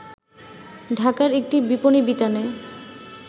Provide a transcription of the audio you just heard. ঢাকার একটি বিপণী বিতানে